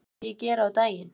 Hvað myndi ég gera á daginn?